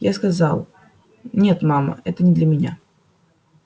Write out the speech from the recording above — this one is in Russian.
я сказала нет мама это не для меня